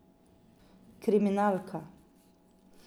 Kriminalka.